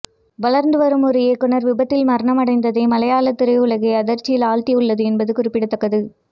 வளர்ந்துவரும் ஒரு இயக்குனர் விபத்தில் மரணமடைந்தது மலையாள திரையுலகை அதிர்ச்சியில் ஆழ்த்தி உள்ளது என்பது குறிப்பிடத்தக்கது